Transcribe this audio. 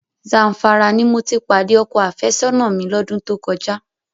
Zamfara ni mo ti pàdé ọkọ àfẹ́sọ́nà mi lọ́dún tó kọjá.